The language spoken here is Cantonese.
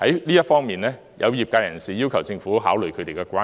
就這方面，有業界人士要求政府考慮他們的關注。